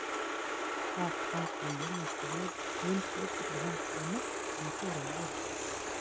Það gangi ljómandi vel, mun betur en hún hafi nokkurn tíma þorað að vona.